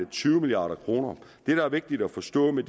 tyve milliard kroner det der er vigtigt at forstå med